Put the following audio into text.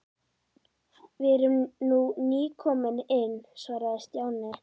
Við erum nú nýkomin inn svaraði Stjáni.